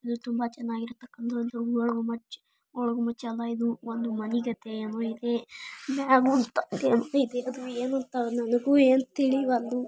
ಚೆನ್ನಾಗಿರ ತಕ್ಕಂತ ಗೋಲ್ ಒಂದು ಗುಂಬಜ್ ಗೋಲ್ ಗುಂಬಜ್ ಅಲ್ಲ ಇದು ಒಂದು ಮನೆ ಗತೆ ಏನು ಇದೆ ಮ್ಯಾಗೂ ಏನೋ ಇದೆ ಏನು ಅಂತ ನನಗೂ ಏನು ತಿಳಿವಲ್ದು.